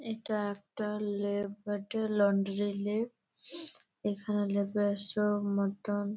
এইটা একটা লন্ড্রি এইখানে মতন ।